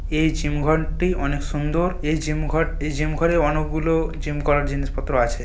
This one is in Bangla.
এই জিম ঘরটি অনেক সুন্দর এই জিম ঘর জিম ঘরে অনেকগুলো জিম করার জিনিসপত্র আছে।